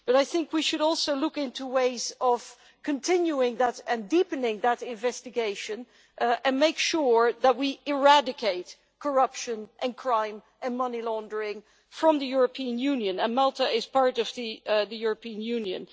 But I think we should also look into ways of continuing that and deepening that investigation and make sure that we eradicate corruption and crime and money laundering from the European Union, and Malta is part of the European Union.